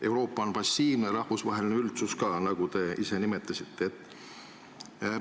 Euroopa on passiivne ja rahvusvaheline üldsus ka, nagu te ise märkisite.